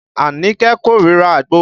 Anike korira àgbo